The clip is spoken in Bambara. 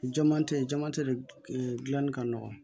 Jama tɛ yen jamate de dilanni ka nɔgɔn